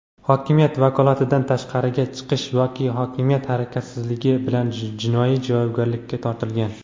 hokimiyat vakolatidan tashqariga chiqish yoki hokimiyat harakatsizligi) bilan jinoiy javobgarlikka tortilgan.